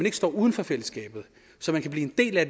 ikke står uden for fællesskabet så man kan blive en del af